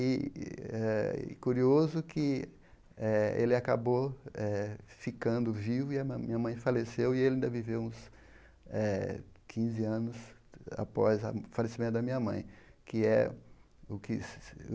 E é curioso que eh ele acabou eh ficando vivo e minha mãe minha mãe faleceu, e ele ainda viveu uns eh quinze anos após o falecimento da minha mãe. que é o que se